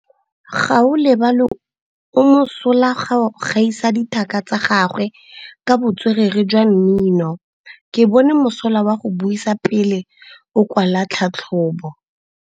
Gaolebalwe o mosola go gaisa dithaka tsa gagwe ka botswerere jwa mmino. Ke bone mosola wa go buisa pele o kwala tlhatlhobô.